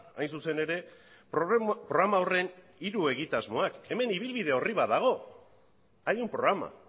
hain zuzen ere programa horren hiru egitasmoak hemen ibilbide orri bat dago hay un programa